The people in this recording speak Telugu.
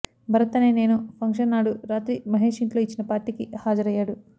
భరత్ అనే నేను ఫంక్షన్ నాడు రాత్రి మహేష్ ఇంట్లో ఇచ్చిన పార్టీకి హాజరయ్యాడు